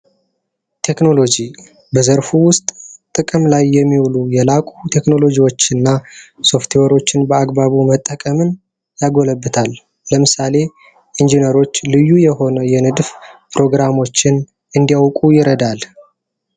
ቴክኖሎጂ በዘርፉ ውስጥ ጥቅም ላይ የሚወሉ የላቁ ቴክኖሎጂዎችን እና ሶፍትዌሮችን በአግባቡ መጠቀምን ያጎለብታል። ለምሳሌ ኢንጂነሮች ልዩ የሆነ የንድፍ ፕሮግራሞችን እንዲያውቁ ይረዳል።